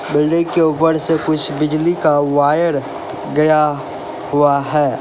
Building के ऊपर से कुछ बिजली का वायर गया हुआ है।